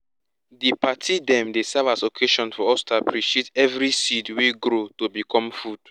di party dem dey serve as occasion for us to appreciate every seed wey grow to become food